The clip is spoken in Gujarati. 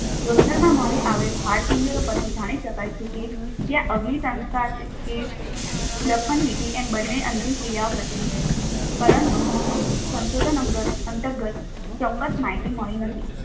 લોથલમાં મળી આવેલ હાડપિંજર પરથી જાણી શકાય છે કે ત્યાં અગ્નિ સંસ્કાર કે દર્પણવિધિ એમ બંને અંતિમ ક્રિયાઓ પ્રચલિત હશે પરંતુ સંશોધન અંતર્ગત ચોક્ક્સ માહિતી મળી નથી.